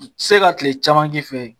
Se ka tile caman k'i fɛ yen.